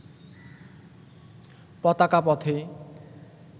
পতাকা পথে